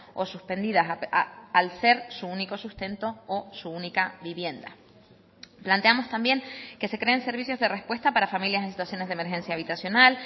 o suspendidas al ser su único sustento o su única vivienda planteamos también que se creen servicios de respuesta para familias en situaciones de emergencia habitacional